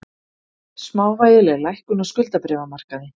Smávægileg lækkun á skuldabréfamarkaði